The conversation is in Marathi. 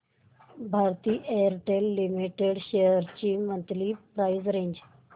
भारती एअरटेल लिमिटेड शेअर्स ची मंथली प्राइस रेंज